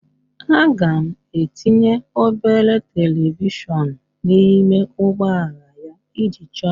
Aga m etinye obere televishọnụ n'ime ụgbọala ya iji chọọ ya mma